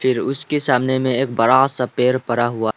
उसके सामने में एक बरा सा पेर परा हुआ --